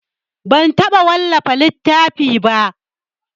Ban taɓa wallafa littafi ba.